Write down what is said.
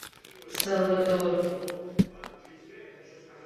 салвадор